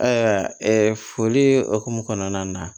Ayiwa foli hukumu kɔnɔna na